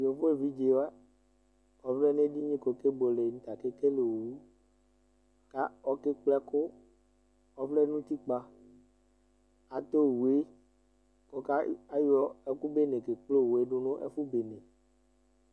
Gbevu evidze wa, ɔvlɛ nʋ edini kʋ ɔkebuele nʋ ɔta kekele owu kʋ ɔkekple ɛkʋ Ɔvlɛ nʋ utikpǝ atɛ owu yɛ kʋ ɔka ayɔ ɛkʋ bene kekple owu yɛ dʋ nʋ ɛfʋ bene